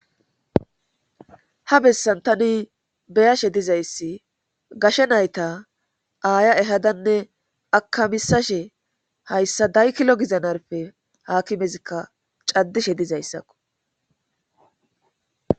Ha bessantani beyashe dizayssi gashe nayta aaya ehadanne akamisashe hayssa daykilo gizanarpe haakimezikka caddishe dizayssakko.